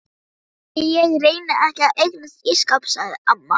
Ætli ég reyni ekki að eignast ísskáp sagði amma.